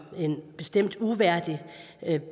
en bestemt uværdig